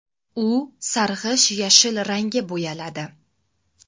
U sarg‘ish-yashil rangga bo‘yaladi.